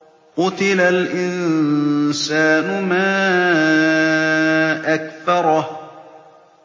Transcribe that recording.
قُتِلَ الْإِنسَانُ مَا أَكْفَرَهُ